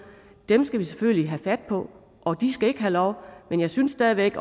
dem skal vi selvfølgelig have fat på og de skal ikke have lov men jeg synes stadig væk